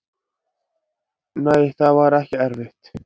Nei, það var ekki erfitt.